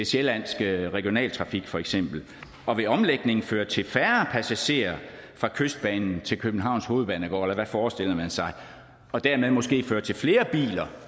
sjællandske regionaltrafik for eksempel og vil omlægningen føre til færre passagerer fra kystbanen til københavns hovedbanegård eller forestiller sig og dermed måske føre til flere biler